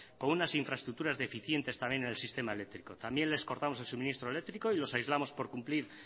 con unas infraestructuras deficientes también en el sistema eléctrico también les cortamos el suministro eléctrico y los aislamos por cumplir